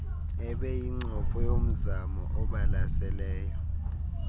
ebeyincopho yomzamo obalaseleyo